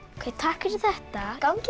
takk fyrir þetta gangi